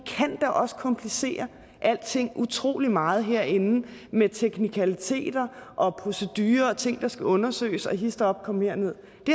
kan da også komplicere alting utrolig meget herinde med teknikaliteter og procedurer og ting der skal undersøges og histop og kom herned det